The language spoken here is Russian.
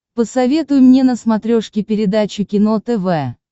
посоветуй мне на смотрешке передачу кино тв